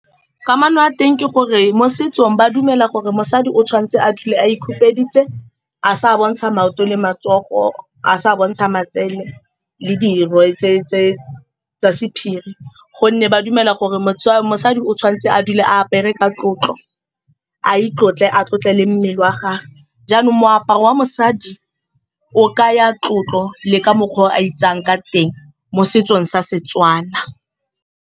Kamano ya teng ke gore mo setsong, ba dumela gore mosadi o tshwanetse a dule a ikhupeditse, a sa bontsha maoto le matsogo, a sa bontsha matsele le dirwe tse-tse tsa sephiri, gonne ba dumela gore mosadi o tshwanetse a dule a apere ka tlotlo, a itlotla, a tlotle le mmele wa gagwe. Jaanong, moaparo wa mosadi o kaya tlotlo le ka mokgwa o a itsayang ka teng mo setsong sa Setswana.